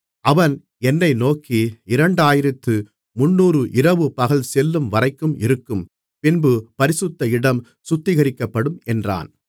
அவன் என்னை நோக்கி இரண்டாயிரத்து முந்நூறு இரவுபகல் செல்லும்வரைக்கும் இருக்கும் பின்பு பரிசுத்த இடம் சுத்திகரிக்கப்படும் என்றான்